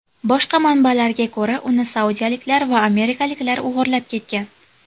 Boshqa manbalarga ko‘ra, uni saudiyaliklar va amerikaliklar o‘g‘irlab ketgan.